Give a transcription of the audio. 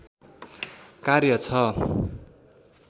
कार्य छ